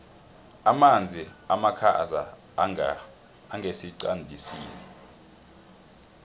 amanzi amakhaza angesiqandisini